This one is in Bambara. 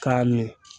K'a ɲɛ